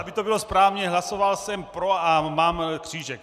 Aby to bylo správně - hlasoval jsem pro, a mám křížek.